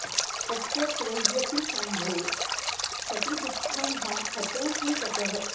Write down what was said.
तत्र त्वय्यपि शम्भो सति दुःखं हा हतोऽस्मि ततः